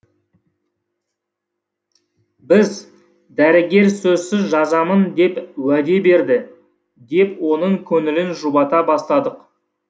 біз дәрігер сөзсіз жазамын деп уәде берді деп оның көңілін жұбата бастадық